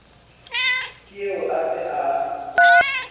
ke eo a se a